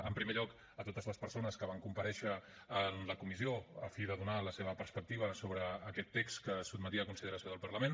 en primer lloc a totes les persones que van comparèixer en la comissió a fi de donar la seva perspectiva sobre aquest text que es sotmetia a consideració del parlament